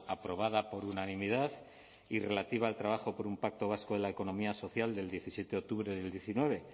aprobada por unanimidad y relativa al trabajo por un pacto vasco en la economía social del diecisiete octubre del diecinueve